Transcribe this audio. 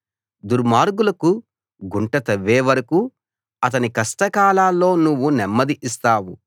దుర్మార్గులకు గుంట తవ్వే వరకూ అతని కష్టకాలాల్లో నువ్వు నెమ్మది ఇస్తావు